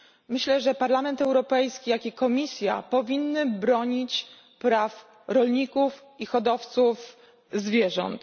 Myślę, że Parlament Europejski i Komisja powinny bronić praw rolników i hodowców zwierząt.